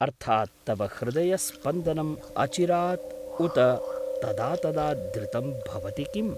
अर्थात्, तव हृदयस्पन्दनम् अचिरात् उत तदा तदा द्रुतं भवति किम्?